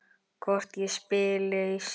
Hvort ég spili í sumar?